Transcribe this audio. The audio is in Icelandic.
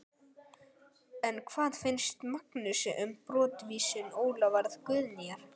En hvað finnst Magnúsi um brottvísun Ólafar Guðnýjar?